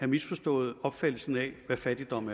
misforstået opfattelsen af hvad fattigdom